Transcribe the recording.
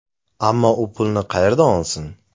Ammo u pulni qayerdan olsin?